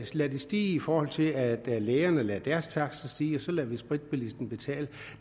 lad det stige i forhold til at lægerne lader deres takster stige og så lader vi spritbilisten betale